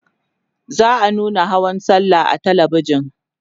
za'a nuna hawan sallah a talabijan